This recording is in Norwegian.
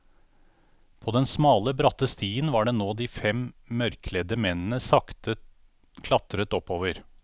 På denne smale, bratte stien var det nå de fem mørkkledde mennene sakte klatret oppover.